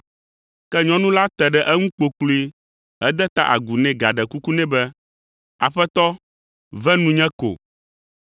Ke nyɔnu la te ɖe eŋu kpokploe hede ta agu nɛ gaɖe kuku nɛ be, “Aƒetɔ, ve nunye ko!”